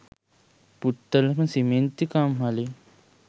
පුත්තලම සිමෙන්ති කම්හලෙන්.